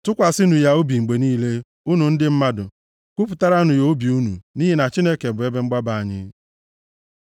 Tụkwasịnụ ya obi mgbe niile, unu ndị mmadụ; kwupụtaranụ ya obi unu, nʼihi na Chineke bụ ebe mgbaba anyị. Sela